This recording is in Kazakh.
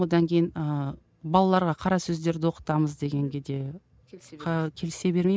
одан кейін ыыы балаларға қара сөздерді оқытамыз дегенге де келісе бермеймін